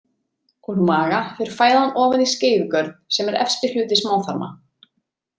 Úr maga fer fæðan ofan í skeifugörn sem er efsti hluti smáþarma.